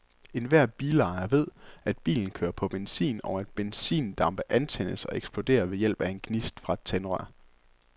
Enhver bilejer ved, at bilen kører på benzin, og at benzindampe antændes og eksploderer ved hjælp af en gnist fra et tændrør.